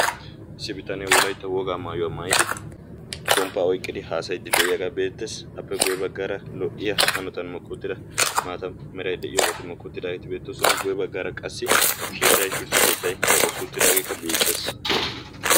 issi bitane wolaitta wogaa maayuwaa mayidi pomppaa oiqqidi haasayiddi de7iyaagaa beettees. appe guyye baggaara lo77iya hanotan makkuuttida maata merai de7iyoobaati makkuutidaageeti beettoosona. guye baggaara qassi keettai shuchcha keettai keexetti uttidaageekka beettees.